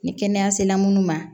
Ni kɛnɛya sela munnu ma